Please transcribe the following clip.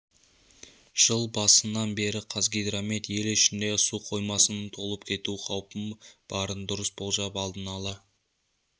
жыл басынан бері қазгидромет ел ішіндегі су қоймасының толып кету қаупі барын дұрыс болжап алдын ала